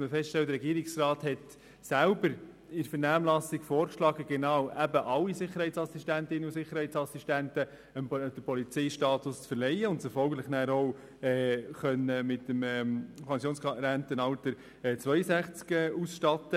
werden, dass der Regierungsrat in der Vernehmlassung selber vorschlug, allen Sicherheitsassistentinnen und Sicherheitsassistenten den Polizeistatus zu verleihen und diese somit mit dem Rentenalter von 62 Jahren auszustatten.